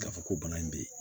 K'a fɔ ko bana in bɛ yen